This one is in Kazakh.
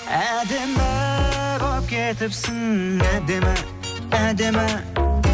әдемі боп кетіпсің әдемі әдемі